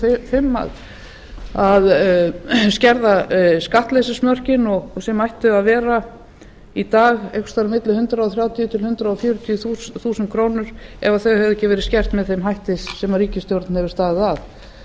níutíu og fimm að skerða skattleysismörkin sem ættu að vera í dag einhvers staðar á milli hundrað þrjátíu til hundrað fjörutíu þúsund krónur ef þau hefðu ekki verið skert með þeim hætti sem ríkisstjórnin hefur staðið